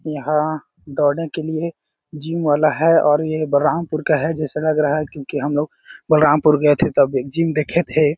यहाँ दौड़ने के लिए जिम वाला है और ये बलरामपुर का है जैसे लग रहा है क्योंकि हमलोग बलरामपुर गए थे तब एक जिम देखे थे।